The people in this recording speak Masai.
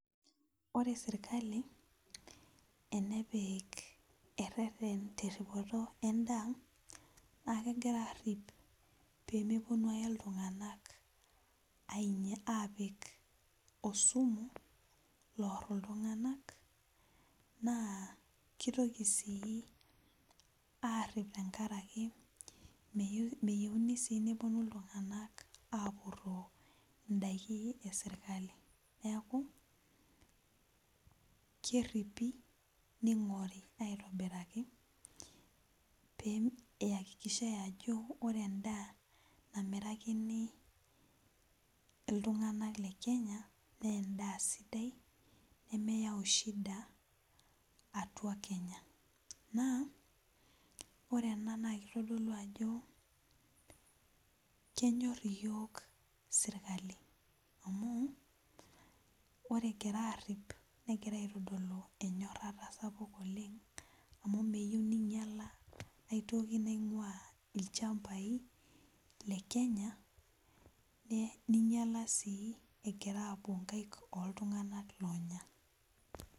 Ore serkali enepik ereren teripoto endaa na kegira apik pemeponu ake ltung'anak apik osumu loaar illtung'anak na kitoki sii aarip tenkaraki meyieuni si neponu ltung'anak apuroo ndakini eserkali neaku keripi neing'ori aitobiraki piakikishai ajo ore endaa namirakini ltung'anak lekenya na endaa sidai nemeyau shida atua kenya ore ena na kitadolu ajo kenyor yiok serkali amu ore egirai aripi nitadol yiok enyorata sapuk oleng' amu meyieu ninyala aitoki naing'ua lchambai le kenya ninyala si epoto nkaik oltung'anak onya.